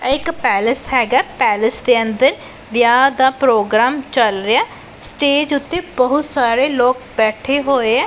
ਐ ਇਕ ਪੈਲਸ ਹੈਗਾ ਪੈਲਸ ਦੇ ਅੰਦਰ ਵਿਆਹ ਦਾ ਪ੍ਰੋਗਰਾਮ ਚੱਲ ਰਿਹਾ ਸਟੇਜ ਉੱਤੇ ਬਹੁਤ ਸਾਰੇ ਲੋਕ ਬੈਠੇ ਹੋਏ ਐ।